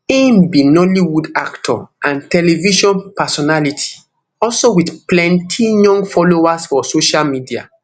im be nollywoodactor and television personality also wit plenti young followers for social media